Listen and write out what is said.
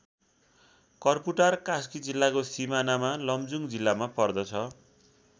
कर्पुटार कास्की जिल्लाको सिमानामा लमजुङ जिल्लामा पर्दछ।